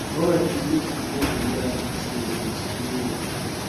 i warn my pikin make e comot from where hard drugs dey but e no hear